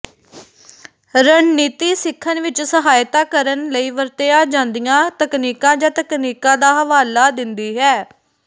ਰਣਨੀਤੀ ਸਿੱਖਣ ਵਿੱਚ ਸਹਾਇਤਾ ਕਰਨ ਲਈ ਵਰਤੀਆਂ ਜਾਂਦੀਆਂ ਤਕਨੀਕਾਂ ਜਾਂ ਤਕਨੀਕਾਂ ਦਾ ਹਵਾਲਾ ਦਿੰਦੀ ਹੈ